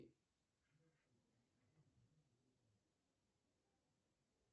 почему в двадцать первом веке нельзя обеспечить водой на время работ